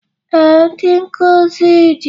Ee, ndị nkuzi dị